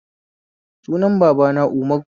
Sunan babana Umaru